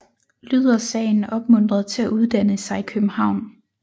Lyder Sagen opmuntret til at uddanne sig i København